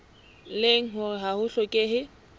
leng hore ha ho hlokehe